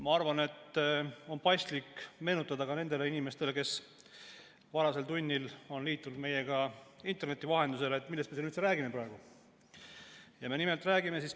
Ma arvan, et on paslik meenutada ka nendele inimestele, kes on varasel tunnil liitunud meiega interneti vahendusel, millest me siin praegu üldse räägime.